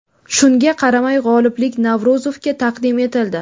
Shunga qaramay, g‘oliblik Navro‘zovga taqdim etildi.